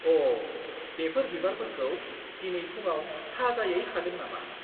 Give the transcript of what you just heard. अ! बेफोर बिबारफोरखौ दिनै फुंआव थाजायै खादों नामा?